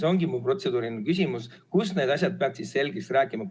See ongi mu protseduuriline küsimus: kus need asjad peaks siis selgeks rääkima?